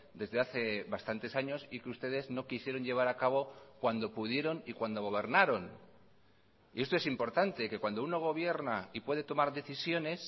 desde hace bastantes años y que ustedes no quisieron llevar a cabo cuando pudieron y cuando gobernaron y esto es importante que cuando uno gobierna y puede tomar decisiones